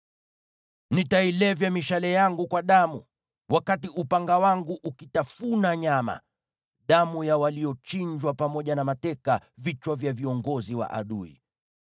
Nitailevya mishale yangu kwa damu, wakati upanga wangu ukitafuna nyama: damu ya waliochinjwa pamoja na mateka, vichwa vya viongozi wa adui.”